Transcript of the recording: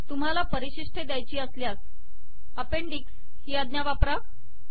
तुम्हाला परिशिष्टे द्यायची असल्यास अपेंडिक्स ही आज्ञा वापरा